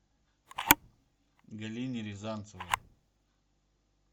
галине рязанцевой